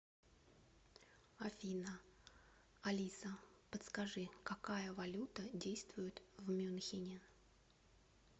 афина алиса подскажи какая валюта действует в мюнхене